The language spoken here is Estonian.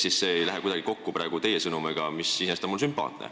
Seega, see ei lähe kuidagi kokku teie praegu edastatud sõnumiga, mis iseenesest on mulle sümpaatne.